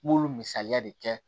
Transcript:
N b'olu misaliya de kɛ